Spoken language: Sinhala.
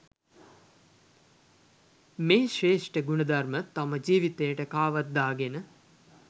මේ ශ්‍රේෂ්ඨ ගුණ ධර්ම තම ජීවිතයට කාවද්දාගෙන